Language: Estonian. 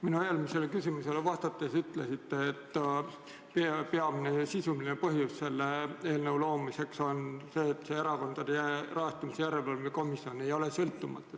Minu eelmisele küsimusele vastates te ütlesite, et peamine sisuline põhjus selle eelnõu loomiseks oli see, et Erakondade Rahastamise Järelevalve Komisjon ei ole sõltumatu.